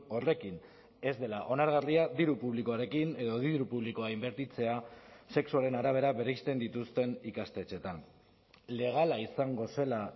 horrekin ez dela onargarria diru publikoarekin edo diru publikoa inbertitzea sexuaren arabera bereizten dituzten ikastetxeetan legala izango zela